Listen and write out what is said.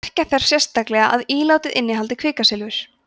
merkja þarf sérstaklega að ílátið innihaldi kvikasilfur